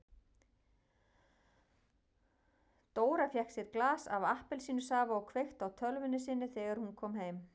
Dóra fékk sér glas af appelsínusafa og kveikti á tölvunni sinni þegar hún kom heim.